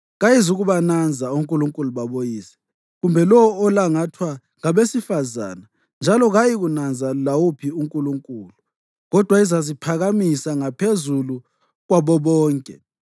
Kayizukubananza onkulunkulu baboyise, kumbe lowo olangathwa ngabesifazane, njalo kayiyikunanza lawuphi unkulunkulu, kodwa izaziphakamisa ngaphezulu kwabo bonke.